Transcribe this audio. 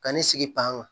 Ka ne sigi panga